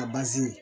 A bazi